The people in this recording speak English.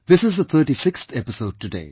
This is the 36th episode today